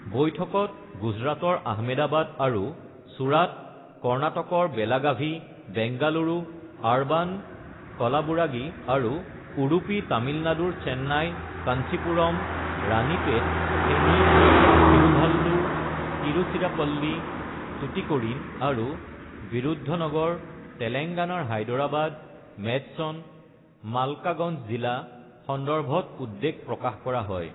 বৈঠকত গুজৰাটৰ আহমেদাবাদ আৰু চুৰাট কৰ্ণাটকৰ বেলাগাভি, বেংগালুৰু আৰবান, কলাবুৰাগি আৰু উড়ুপি তামিলনাডুৰ চেন্নাই, কাঞ্চিপুৰম, ৰাণিপেত, থেনি, থিৰুভাল্লুৰ, তিৰুচিৰাপ্পলি, টুটিকৰিণ আৰু বিৰুদ্ধনগৰ তেলেংগানাৰ হায়দৰাবাদ, মেডচন, মালকাগঞ্জ জিলা সন্দৰ্ভত উদ্বেগ প্ৰকাশ কৰা হয়।